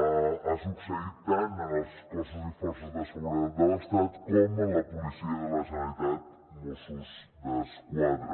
ho hem vist ha succeït tant en els cossos i forces de seguretat de l’estat com en la policia de la generalitat mossos d’esquadra